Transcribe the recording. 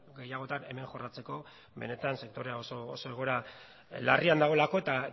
gehiagotan hemen jorratzeko benetan sektorea oso egoera larrian dagoelako eta